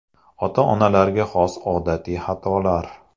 Ota-onalarga xos odatiy xatolar.